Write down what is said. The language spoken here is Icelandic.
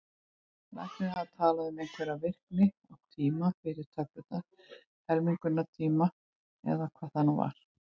Læknirinn hafði talað um einhverja virkni og tíma fyrir töflurnar, helmingunartíma, eða hvað það var.